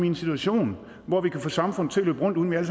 en situation hvor vi kan få samfundet til at løbe rundt uden at vi